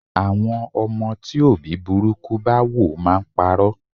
Àwọn ọmọ tí òbí burúkú bá wò máa ń pa'rọ́.